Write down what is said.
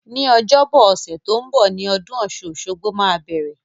Ní ọjọ́bọ ọ̀sẹ̀ to n bo ni odún osun-osogbo máa bẹ̀rẹ̀